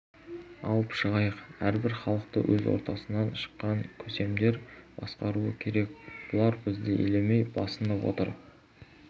алып шығайық әрбір халықты өз ортасынан шыққан көсемдер басқаруы керек бұлар бізді елемей басынып отыр